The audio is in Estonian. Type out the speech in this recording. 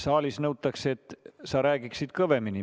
Saalis nõutakse, et sa räägiksid kõvemini.